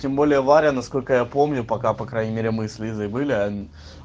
тем более варя насколько я помню пока по крайней мере мы с лизой были